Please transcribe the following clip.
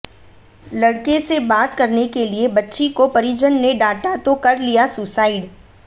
लड़के से बात करने के लिए बच्ची को परिजन ने डांटा तो कर लिया सुसाइड